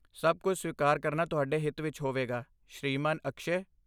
ਸਭ ਕੁਝ ਸਵੀਕਾਰ ਕਰਨਾ ਤੁਹਾਡੇ ਹਿੱਤ ਵਿੱਚ ਹੋਵੇਗਾ, ਸ਼੍ਰੀਮਾਨ ਅਕਸ਼ੈ।